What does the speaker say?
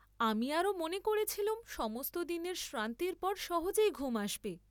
আমি আরো মনে করেছিলুম, সমস্ত দিনের শ্রান্তির পর সহজেই ঘুম আসবে!